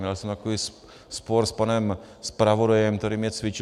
Měl jsem takový spor s panem zpravodajem, který mě cvičil.